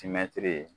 Timɛtiri